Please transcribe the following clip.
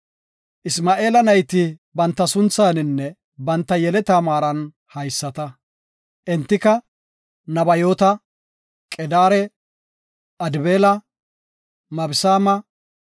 Isma7eela nayti banta sunthaninne banta yeleta maaran haysata; entika, Nabayoota, Qedaare, Adbeela, Mibsaama,